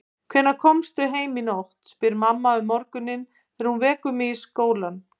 Hvenær komstu heim í nótt, spyr mamma um morguninn þegar hún vekur mig í skólann.